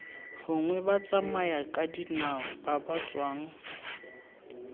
gongwe batsamayakadinao ba ba tswang